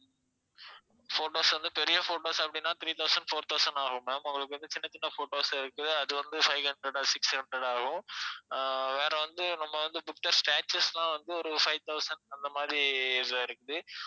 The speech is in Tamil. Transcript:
photos வந்து பெரிய photos அப்படினா three thousand four thousand ஆகும் ma'am உங்களுக்கு வந்து சின்ன சின்ன photos இருக்குது அது வந்து five hundred six hundred ஆகும் ஆஹ் வேற வந்து நம்ம வந்து புத்தர் statues லாம் வந்து ஒரு five thousand அந்த மாதிரி இதுல இருக்குது